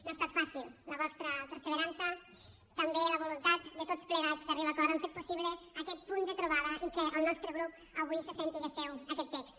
no ha estat fàcil la vostra perseverança també la voluntat de tots plegats d’arribar a acords han fet possible aquest punt de trobada i que el nostre grup avui se senta seu aquest text